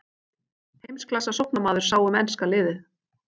Heimsklassa sóknarmaður sá um enska liðið.